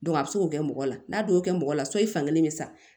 a bɛ se k'o kɛ mɔgɔ la n'a don mɔgɔ la so i fan kelen bɛ sa